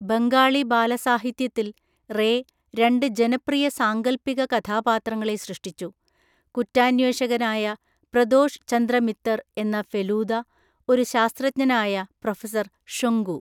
ബംഗാളി ബാലസാഹിത്യത്തിൽ റേ രണ്ട് ജനപ്രിയ സാങ്കൽപ്പിക കഥാപാത്രങ്ങളെ സൃഷ്ടിച്ചു. കുറ്റാന്വേഷകനായ പ്രദോഷ് ചന്ദ്ര മിത്തര്‍ എന്ന ഫെലൂദ, ഒരു ശാസ്ത്രജ്ഞനായ പ്രൊഫസർ ഷൊങ്കു.